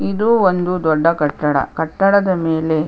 ಇದು ಒಂದು ದೊಡ್ಡ ಕಟ್ಟಡ ಕಟ್ಟಡದ ಮೇಲೆ --